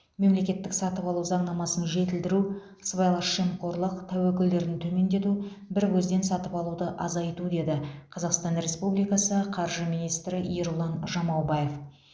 мемлекеттік сатып алу заңнамасын жетілдіру сыбайлас жемқорлық тәуекелдерін төмендету бір көзден сатып алуды азайту деді қазақстан республикасы қаржы министрі ерұлан жамаубаев